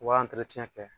U b'a kɛ